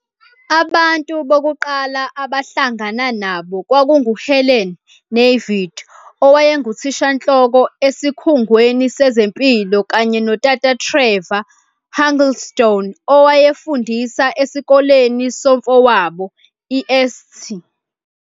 Abantu bokuqala abahlangana nabo kwakunguHelen Navid owayenguthishanhloko esikhungweni sezempilo kanye noTata Trevor Huddleston owayefundisa esikoleni somfowabo, iSt.